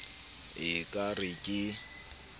e e ka re ke